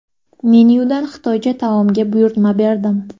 Menyudan xitoycha taomga buyurtma berdim.